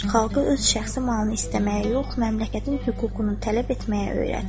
Xalqı öz şəxsi malını istəməyə yox, məmləkətin hüququnu tələb etməyə öyrət.